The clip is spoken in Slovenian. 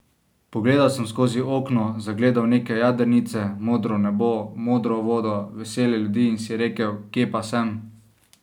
Pogledal sem skozi okno, zagledal neke jadrnice, modro nebo, modro vodo, vesele ljudi in si rekel: 'Kje pa sem?